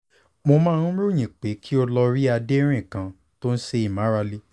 mo máa ń ròyìn pé kí o lọ rí adérin kan tó ń ṣe ìmárale